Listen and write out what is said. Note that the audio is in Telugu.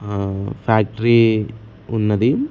అహ్ ఫ్యాక్టరీ ఉన్నది.